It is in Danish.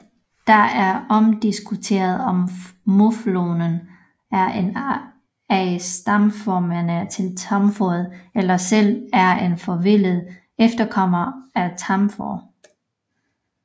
Det er omdiskuteret om muflonen er en af stamformerne til tamfåret eller selv er en forvildet efterkommer af tamfår